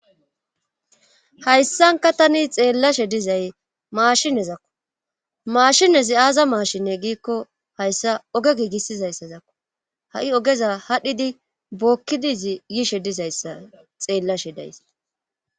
Hayssanka tani xeellashe dizay maashinezakko maashinezi aaza maashine giikko hayssa oge giigisizayssazakko ha7i ogeza hadhdhidi bookkidizi yishe dizayssa xeellashe days.